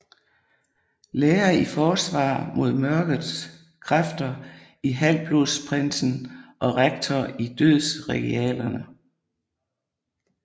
Lærer i Forsvar mod Mørket Kræfter i Halvblodsprinsen og rektor i Dødsregalierne